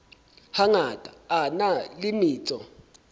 hangata a na le metso